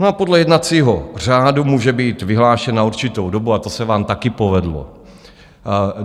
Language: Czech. No a podle jednacího řádu může být vyhlášen na určitou dobu, a to se vám taky povedlo.